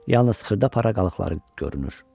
Yalnız xırda-para qalıqları görünür.